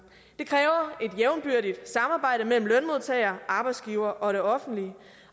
jævnbyrdigt samarbejde mellem lønmodtager arbejdsgiver og det offentlige